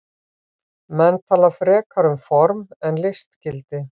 Menn tala frekar um form eða listgildi.